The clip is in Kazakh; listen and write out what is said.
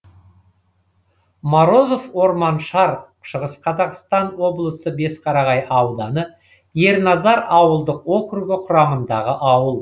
морозов орманшар шығыс қазақстан облысы бесқарағай ауданы ерназар ауылдық округі құрамындағы ауыл